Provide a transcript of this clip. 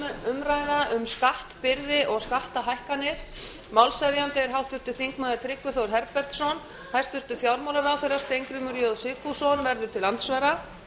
dagskrár um skattbyrði og skattahækkanir málshefjandi er háttvirtur þingmaður tryggvi þór herbertsson hæstvirtur fjármálaráðherra steingrímur j sigfússon verður til andsvara